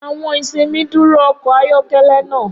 Awọn isinmi duro ọkọ ayọkẹlẹ naa.